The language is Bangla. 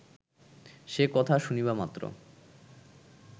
সে কথা শুনবামাত্র